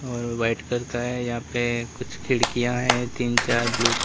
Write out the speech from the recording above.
और white colour का है यहां पे कुछ खिड़कियां है तीन चार ब्लू --